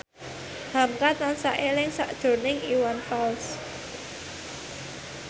hamka tansah eling sakjroning Iwan Fals